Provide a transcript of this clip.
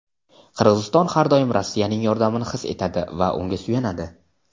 Qirg‘iziston har doim Rossiyaning yordamini his etadi va unga suyanadi:.